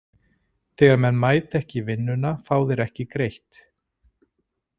Þegar menn mæta ekki í vinnuna fá þeir ekki greitt.